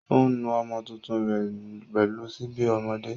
Ó ń nu ọmọ tuntun rẹ̀ pẹ̀lú síbi ọmọdé.